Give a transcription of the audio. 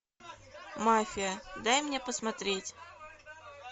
мафия дай мне посмотреть